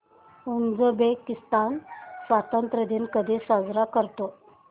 Uzbekistan स्वतंत्रता दिन कधी साजरा करतो